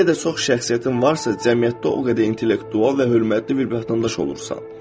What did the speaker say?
Nə qədər çox şəxsiyyətin varsa, cəmiyyətdə o qədər intellektual və hörmətli bir vətəndaş olursan.